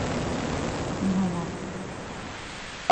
иванов